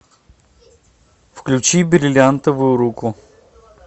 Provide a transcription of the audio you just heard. включи бриллиантовую руку